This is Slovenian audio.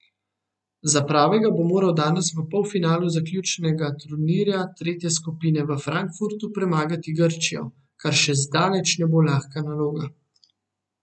Za prvega bo morala danes v polfinalu zaključnega turnirja tretje skupine v Frankfurtu premagati Grčijo, kar še zdaleč ne bo lahka naloga.